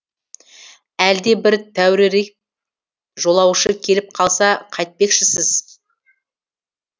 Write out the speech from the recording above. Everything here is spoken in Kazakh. әлде бір тәуірірек жолаушы келіп қалса қайтпекшісіз